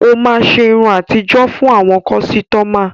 Ó máa ṣe irun àtijó fún àwọn kọ́sítọ́mà.